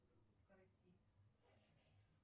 караси